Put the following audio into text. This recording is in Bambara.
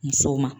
Musow ma